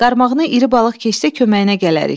Qarmağına iri balıq keçsə köməyinə gələrik.